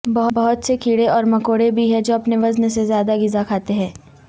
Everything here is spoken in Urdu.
بہت سے کیڑے اور مکوڑے بھی ہیں جو اپنے وزن سے زیادہ غذا کھاتے ہیں